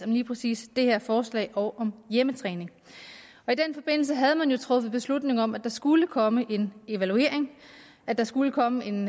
lige præcis det her forslag og om hjemmetræning og i den forbindelse havde man jo truffet beslutning om at der skulle komme en evaluering at der skulle komme en